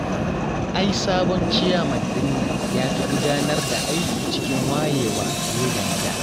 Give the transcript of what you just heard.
Ai sabon Ciyaman din nan ya fi gudanar da aiki cikin wayewa fiye da na da